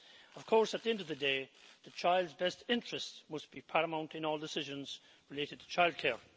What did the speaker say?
Of course, at the end of the day, the child's best interests must be paramount in all decisions related to childcare.